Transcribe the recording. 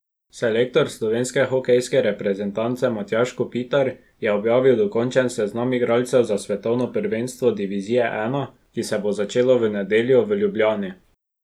Selektor slovenske hokejske reprezentance Matjaž Kopitar je objavil dokončen seznam igralcev za svetovno prvenstvo divizije I, ki se bo začelo v nedeljo v Ljubljani.